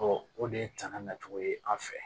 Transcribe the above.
o de ye tanga nacogo ye an fɛ